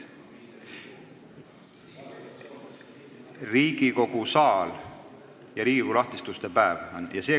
See toimub Riigikogu saalis ja tegu on Riigikogu lahtiste uste päevaga.